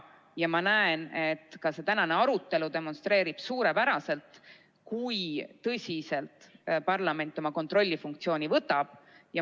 Ja ma näen, et ka see tänane arutelu demonstreerib suurepäraselt, kui tõsiselt parlament oma kontrollifunktsiooni võtab.